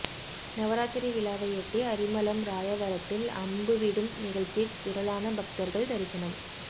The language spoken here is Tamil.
நவராத்திரி விழாவையொட்டி அரிமளம் ராயவரத்தில் அம்புவிடும் நிகழ்ச்சி திரளான பக்தர்கள் தரிசனம்